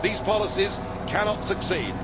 These policies cannot succeed.